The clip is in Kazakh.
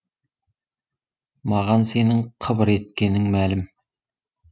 маған сенің қыбыр еткенің мәлім